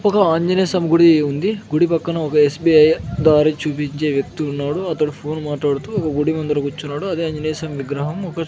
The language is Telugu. ఒక ఆంజనేయస్వామి గుడి ఉంది గుడి పక్కన ఒక ఎస్_బి_ఐ దారి చూపించే వ్యక్తి ఉన్నాడు అతడు ఫోన్ మాట్లాడుతూ గుడి ముందర కూర్చున్నాడు అదే ఆంజనేయ స్వామి విగ్రహం ఒక --